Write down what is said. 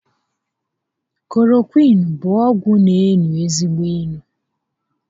Klorokwịịnu bụ ọgwụ n'enu ezigbo inu